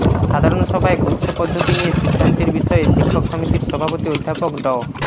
সাধারণ সভায় গুচ্ছ পদ্ধতি নিয়ে সিদ্ধান্তের বিষয়ে শিক্ষক সমিতির সভাপতি অধ্যাপক ড